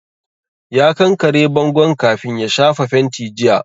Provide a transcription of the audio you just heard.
Ya kankare bangon kafin ya shafa fenti jiya